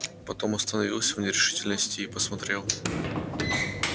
потом остановился в нерешительности и посмотрел